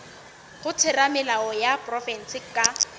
go theramelao ya profense ka